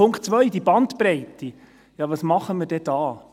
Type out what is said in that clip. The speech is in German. Zu Punkt 2, dieser Bandbreite: Was tun wir denn da?